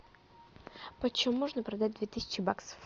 почем можно продать две тысячи баксов